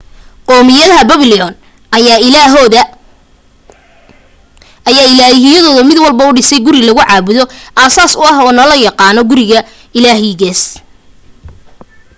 qowmiyaddii babylon ayaa ilaahiyadooda mid walbo u dhisay guri lagu caabudo aasaas u ah oo na loo yaqaano guriga ilaahigaas